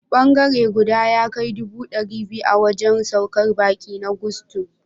Bangare guda ya kai dubu ɗari biyu a wajen saukar baƙi na Gusto.